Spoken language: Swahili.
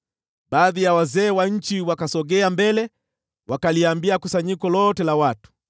Baadhi ya wazee wa nchi wakasogea mbele, wakaliambia kusanyiko lote la watu,